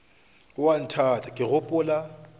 o a nthata ke gopola